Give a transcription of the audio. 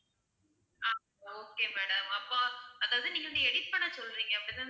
ஆஹ் okay madam அப்போ அதாவது நீங்க வந்து edit பண்ண சொல்றீங்க அதானே?